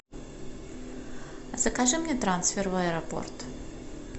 закажи мне трансфер в аэропорт